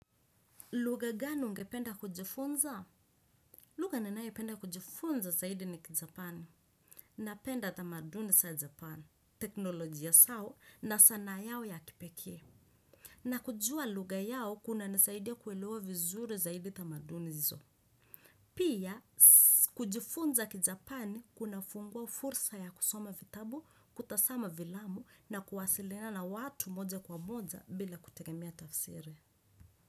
Lugha gani ungependa kujifunza? Lugha ninayopenda kujifunza zaidi ni kijapani. Napenda tamaduni za japani. Teknolojia zao na sanaa yao ya kipekee. Na kujua lugha yao kuna nisaidia kuelewa vizuri zaidi tamaduni hizo. Pia kujifunza kijapani kuna fungua fursa ya kusoma vitabu, kutazama filamu na kuwasiliana na watu moja kwa moja bila kutegemea tafsiri.